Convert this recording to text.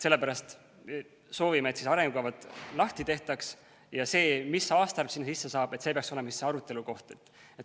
Sellepärast me soovime, et arengukavad lahti tehtaks ja see, mis aastaarv sinna sisse saab, peaks olema arutelukoht.